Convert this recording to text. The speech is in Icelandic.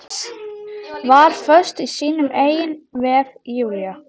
Var föst í sínum eigin vef, Júlía.